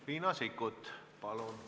Riina Sikkut, palun!